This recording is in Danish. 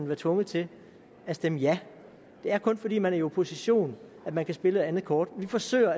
være tvunget til at stemme ja det er kun fordi man er i opposition at man kan spille et andet kort vi forsøger